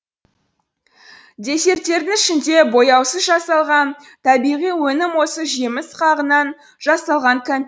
десерттердің ішінде бояусыз жасалған табиғи өнім осы жеміс қағынан жасалған кәмпит